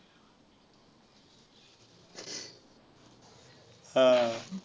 हां.